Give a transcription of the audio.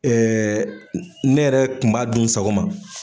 ne yɛrɛ kun m'a dun n sago ma